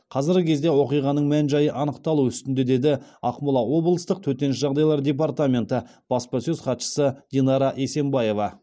қазіргі кезде оқиғаның мән жайы анықталу үстінде деді ақмола облыстық төтенше жағдайлар департаменті баспасөз хатшысы динара есенбаева